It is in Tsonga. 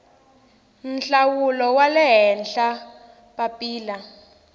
nhlawulo wa le henhla papila